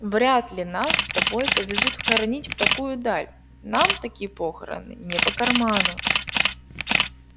вряд ли нас с тобой повезут хоронить в такую даль нам такие похороны не по карману